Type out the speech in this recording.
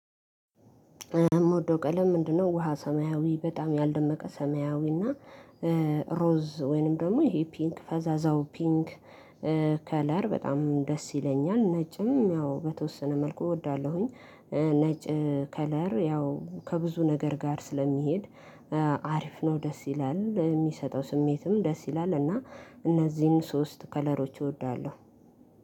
የምወደው ቀለም ምንድነው? ውሃ ሰማያዊ በጣም ያልደመቀ ሰማያዊ እና ሮዝ ወይንም ደግሞ ይሄ ፒንክ ፈዛዛው ፒንክ ከለር በጣም ደስ ይለኛል። ነጭም ያው በተወሰነ መልኩ እወዳለሁኝ። ነጭ ከለር ያው ከብዙ ነገር ጋር ስለሚሄድ አሪፍ ነው ደስ ይላል የሚሰጠው ስሜትም ደስ ይላል። እና እነዚህን ሶስት ከለሮች እወዳለሁ።